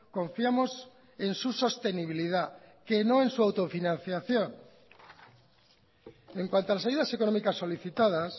confiamos en su sostenibilidad que no en su autofinanciación en cuanto a las ayudas económicas solicitadas